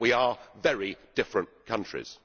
We are very different countries.